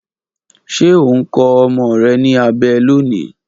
Ṣe o n kọ ọmọ rẹ ni abẹ loni?